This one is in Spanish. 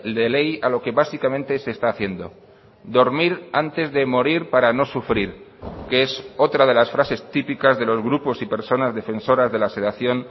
de ley a lo que básicamente se está haciendo dormir antes de morir para no sufrir que es otra de las frases típicas de los grupos y personas defensoras de la sedación